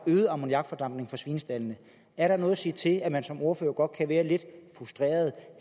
øget ammoniakfordampning fra svinestaldene er der noget at sige til at man som ordfører godt kan være lidt frustreret